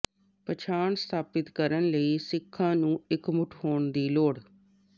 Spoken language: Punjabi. ਪਛਾਣ ਸਥਾਪਿਤ ਕਰਨ ਲਈ ਸਿੱਖਾਂ ਨੂੰ ਇਕਮੁੱਠ ਹੋਣ ਦੀ ਲੋੜ